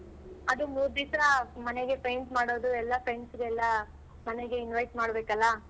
ಅದು ಮೂರ್ ದಿವ್ಸ ಮನೆಗೆ paint ಮಾಡೋದು ಎಲ್ಲಾ friends ಗೆಲ್ಲ ಮನೆಗೆ invite ಮಾಡ್ಬೇಕಲ್ಲ.